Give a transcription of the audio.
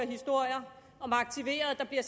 historier om aktiverede der bliver